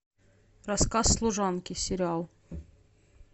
рассказ служанки сериал